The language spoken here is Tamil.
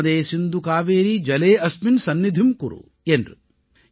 நர்மதே சிந்து காவேரி ஜலே அஸ்மின் சன்னிதிம் குரு என்று